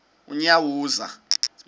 unyawuza